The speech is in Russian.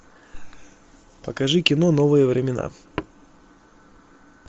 покажи кино новые времена